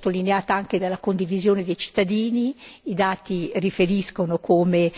L'importanza viene sottolineata anche dalla condivisione dei cittadini, i dati riferiscono come